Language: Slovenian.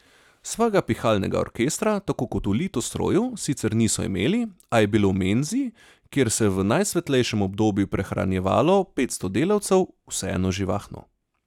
Svojega pihalnega orkestra, tako kot v Litostroju, sicer niso imeli, a je bilo v menzi, kjer se je v najsvetlejšem obdobju prehranjevalo petsto delavcev, vseeno živahno.